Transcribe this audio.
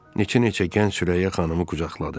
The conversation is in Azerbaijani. Neçə-neçə gənc Sürəyya xanımı qucaqladı.